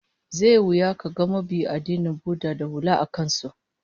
Zai yi wuya kaga mabiya addinin Buddha da huka a kan su